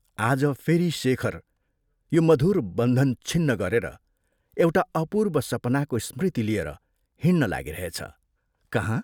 आज फेरि शेखर यो मधुर बन्धन छिन्न गरेर एउटा अपूर्व सपनाको स्मृति लिएर हिंड्न लागिरहेछ, कहाँ?